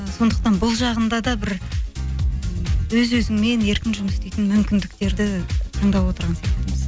ы сондықтан бұл жағында да бір өз өзіңмен еркін жұмыс істейтін мүмкіндіктерді таңдап отырған сияқтымыз